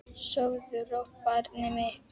Sofðu rótt barnið mitt.